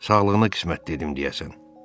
Sağlığına qismət dedim deyəsən.